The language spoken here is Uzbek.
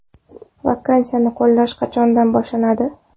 Vaksinani qo‘llash qachondan boshlanadi?